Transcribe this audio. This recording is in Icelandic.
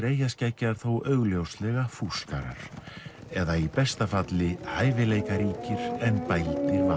eyjaskeggjar þó augljóslega fúskarar eða í besta falli hæfileikaríkir en bældir vanefnamenn